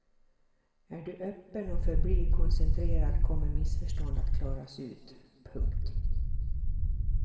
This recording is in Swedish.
Är du öppen och förblir koncentrerad kommer missförstånd att klaras ut. punkt